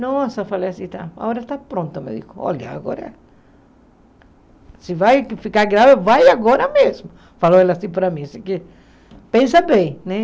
Nossa, falei assim, tá, a hora está pronta, eu me digo, olha, agora, se vai ficar grávida, vai agora mesmo, falou ela assim para mim, pensa bem, né?